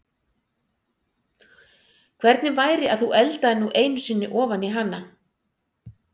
Hvernig væri að þú eldaðir nú einu sinni ofan í hana?